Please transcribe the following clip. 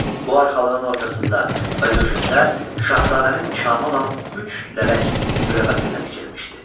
Bu arxalığın ortasında və döşündə şahzadənin nişanı olan üç lələk güləbətinlə tikilmişdi.